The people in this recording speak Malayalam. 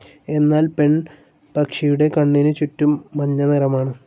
എന്നാൽ പെൺപക്ഷിയുടെ കണ്ണിനുചുറ്റും മഞ്ഞനിറമാണ്.